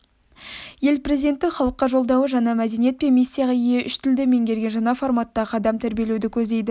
ел президентінің халыққа жолдауы жаңа мәдениет пен миссияға ие үш тілді меңгерген жаңа форматтағы адам тәрбиелеуді көздейді